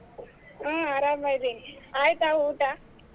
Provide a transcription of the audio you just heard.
ಹ್ಮ್ ಅರಾಮ್ ಅದಿನಿ ಆಯ್ತಾ ಊಟಾ?